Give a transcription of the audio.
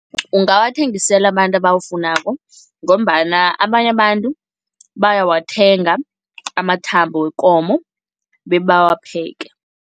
Ungawathengisela abantu abawafunako ngombana abanye abantu bayawathenga amathambo wekomo bebawapheke.